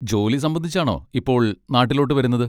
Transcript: ജോലി സംബന്ധിച്ചാണോ ഇപ്പോൾ നാട്ടിലോട്ട് വരുന്നത്?